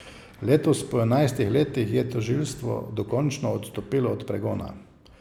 Letos, po enajstih letih, je tožilstvo dokončno odstopilo od pregona.